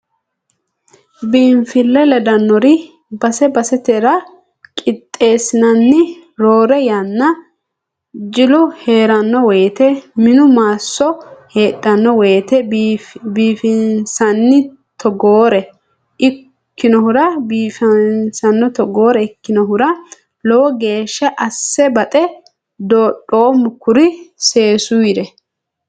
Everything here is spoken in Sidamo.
Biinfile ledanore base basettara qixeessinanni roore yanna jilu heerano woyte minu maasso heedhano woyte biifinsanni togoore ikkinohura lowo geeshsha asse baxe dodhoommo kuri seesure.